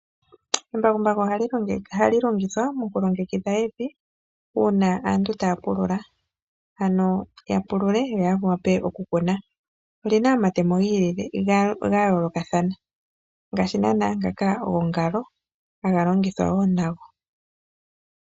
Embakumbaku ohali ongithwa moku longekidha evi uuna aantu taya pulula, ano ya pulule yo ya wape okukuna. Oli na omatemo ga yoolokathana ngaashi naana ngaka gongalo haga longithwa wo nago.